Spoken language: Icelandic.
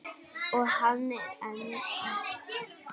Og hann er enn að.